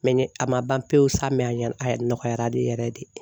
mɛgɛ a ma ban pewu sa mɛ a yɛrɛ a nɔgɔyara ni yɛrɛ de